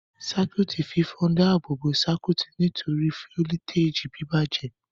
Circuit fífọ dá ààbò bó Circuit tori foliteji bibajẹ.